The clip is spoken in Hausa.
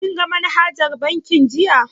Kin ga manajar bankin jiya?